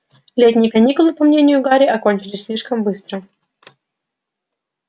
летние каникулы по мнению гарри окончились слишком быстро